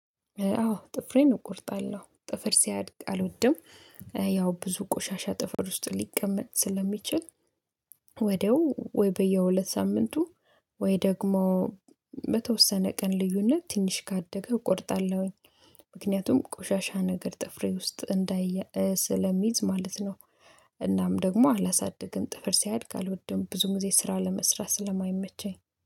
አዎ ጥፍሬን እቆርጣለሁ ጥፍር ሲያድግ አልወድም። ያው ብዙ ቆሻሻ ጥፍር ውስጥ ሊቀመጥ ስለሚችል ወዲያው ወይ በየሁለት ሳምንቱ ወይ ደግሞ በተወሰነ ቀን ልዩነት ትንሽ ካደገ እቆርጣለሁኝ። ምክንያቱም ቆሻሻ ነገር ጥፍሬ ውስጥ እንዳያየ ስለሚዝ ማለት ነው። እናም ደግሞ አላሳድግም ጥፍር ሲያድግ አልወድም ብዙ ጊዜ ስራ ለመስራት ስለማይመቸኝ